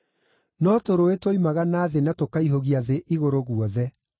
no tũrũũĩ twoimaga na thĩ na tũkaihũgia thĩ igũrũ guothe.